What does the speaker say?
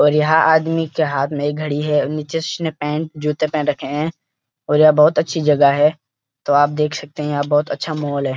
और यहाँ आदमी के हाथ में एक घड़ी है नीचे उसने पैंट जूते पहन रखे हैं और ये बहोत अच्‍छी जगह है तो आप देख सकते हैं यहाँ बहोत अच्छा माहौल है।